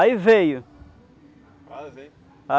Aí veio. Quase em.